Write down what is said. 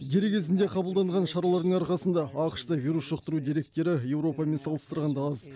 дер кезінде қабылданған шаралардың арқасында ақш та вирус жұқтыру деректері еуропамен салыстырғанда аз